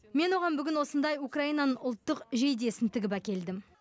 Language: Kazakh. мен оған бүгін осындай украинаның ұлттық жейдесін тігіп әкелдім